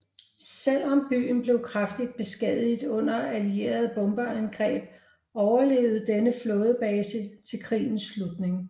Selv om byen blev kraftigt beskadiget under allierede bombeangreb overlevede denne flådebase til krigens slutning